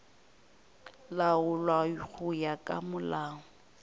laolwa go ya ka molao